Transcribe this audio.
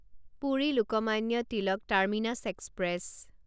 Puri Lokmanya Tilak terminus express